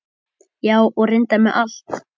Já, og reyndar með allt.